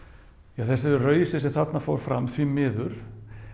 ja þessu rausi sem þarna fór fram því miður